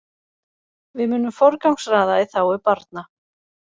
Við munum forgangsraða í þágu barna